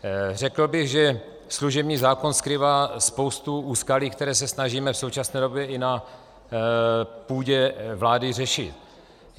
Řekl bych, že služební zákon skrývá spoustu úskalí, která se snažíme v současné době i na půdě vlády řešit.